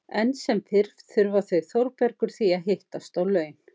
Enn sem fyrr þurfa þau Þórbergur því að hittast á laun.